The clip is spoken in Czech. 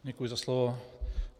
Děkuji za slovo.